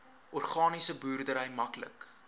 organiese boerdery maklik